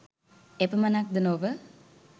එපමණක්ද නොව